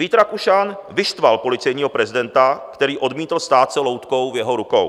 Vít Rakušan vyštval policejního prezidenta, který odmítl stát se loutkou v jeho rukou.